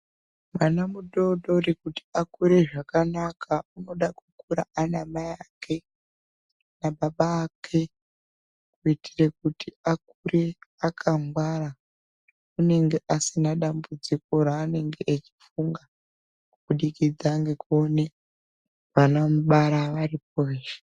Mwana mutotori kuti akure zvakanaka unoda kukura anamai ake nababa ake kuitire kuti akure akangwara unenge asina dambudziko raanenge echifunga kubudikidza ngekuone vanomubara varipo veshe